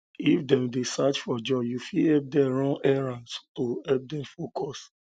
um if dem dey um search for job you fit help dem run errand to help them focus